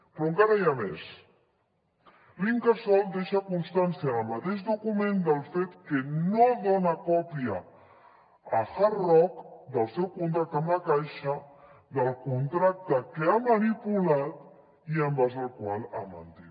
però encara n’hi ha més l’incasòl deixa constància en el mateix document del fet que no dona còpia a hard rock del seu contracte amb la caixa del contracte que ha manipulat i en base al qual ha mentit